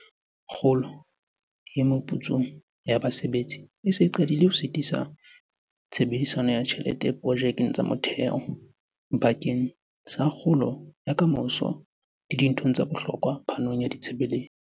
Kgolo e meputsong ya basebetsi e se e qadile ho sitisa tshebediso ya tjhelete diprojekeng tsa motheo, bakeng sa kgolo ya ka moso le dinthong tsa bohlokwa phanong ya ditshebeletso.